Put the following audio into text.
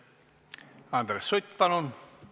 Andres Sutt, palun!